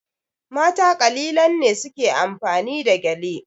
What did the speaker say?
Mata kalilan ne su ke amfani da gyale.